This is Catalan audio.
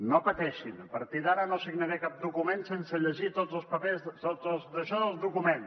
no pateixin a partir d’ara no signaré cap document sense llegir tots els papers tots els daixò del document